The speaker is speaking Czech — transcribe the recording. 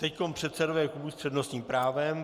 Teď předsedové klubů s přednostním právem.